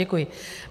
Děkuji.